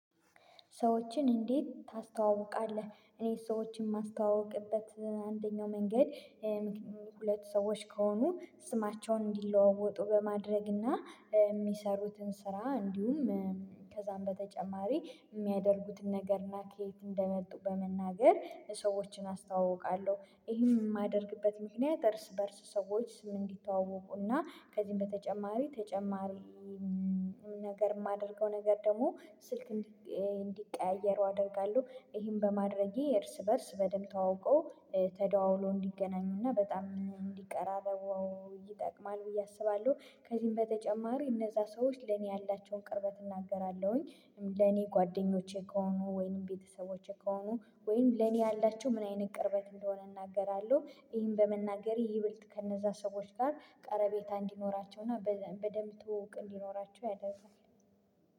ሰዎችን እንዴት ታስተዋውቃለህ? እኔ ሰዎችን የማስተዋውቅበት አንደኛው መንገድ። ሁለት ሰዎች ከሆኑ ስማቸውን እንዲለዋወጡ በማድረግ እና የሚሰሩትን ስራ እንዲሁም። ከዛም በተጨማሪ የሚያደርጉትን ነገርና ከየት እንደመጡ በመናገር ሰዎችን አስተዋውቃለሁ። ይሄን የማደርግበት ምክንያት እርስ በእርስ ሰዎች ስም እንዲተዋወቁና ከዚህም በተጨማሪ ተጨማሪ ነገር የማደርገው ነገር ደግሞ ስልክ እንዲቀያየሩ አደርጋለሁ። ይሄን በማድረጌ እርስ በእርስ በደንብ ተዋውቆ ተደዋውሎ እንዲገናኙና በጣም እንዲቀራረው ይጠቅማሉ ብዬ አስባለሁ። ከዚህም በተጨማሪ እነዛ ሰዎች ለኔ ያላቸውን ቅርበት እናገራለሁኝ። ለኔ ጓደኞቼ ከሆኑ ወይንም ቤተሰቦቼ ከሆኑ ወይንም ለኔ ያላቸው ምን አይነት ቅርበት እንደሆነ እናገራለሁ። ይህን በመናገር ይብልት ከነዛ ሰዎች ጋር ቀረቤታ እንዲኖራቸው በደንብ ትወውቅ እንዲኖራቸው ያደርጋል።